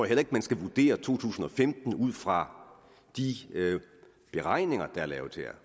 heller ikke man skal vurdere to tusind og femten ud fra de beregninger der er lavet her